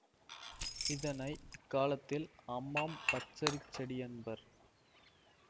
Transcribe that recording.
இதனை இக்காலத்தில் அம்மாம் பச்சரிசிச் செடி என்பர்